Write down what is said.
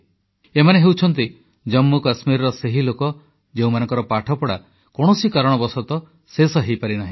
ଏମାନେ ହେଉଛନ୍ତି ଜମ୍ମୁକଶ୍ମୀରର ସେହି ଲୋକ ଯେଉଁମାନଙ୍କର ପାଠପଢ଼ା କୌଣସି କାରଣବଶତଃ ଶେଷ ହୋଇପାରିନାହିଁ